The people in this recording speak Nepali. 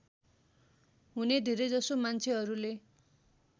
हुने धेरैजसो मान्छेहरूले